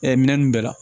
minɛn ninnu bɛɛ la